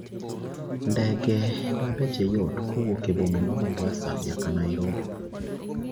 Ndege ma beche yot kowuok e boma ma Mombasa nyaka Nairobi